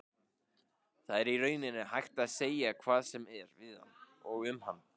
Það er í rauninni hægt að segja hvað sem er við hann og um hann.